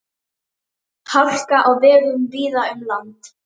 Gunnar Atli Gunnarsson: Hvert er raunverulegt umfang mansals á Íslandi í dag?